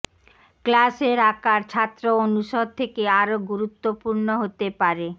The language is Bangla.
ক্লাসের আকার ছাত্র অনুষদ অনুষদ থেকে আরো গুরুত্বপূর্ণ হতে পারে